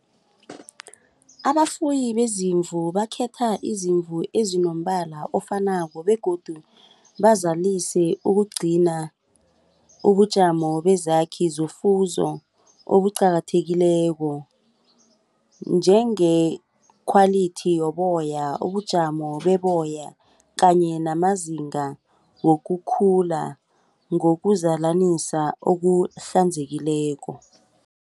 Abafuyi beziimvu bakhetha izimvu eziinombala ofanako begodu bazalise ukugcina ubujamo bezakhi zofuzo obuqakathekileko njenge-quality yoboya ubujamo beboya kanye namazinga wokukhula ngokuzalanisa okuhlanzekileko.